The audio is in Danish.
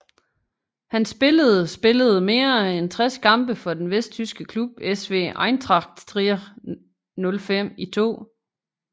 Han spillede spillede mere end 60 kampe for den vesttyske klub SV Eintracht Trier 05 i 2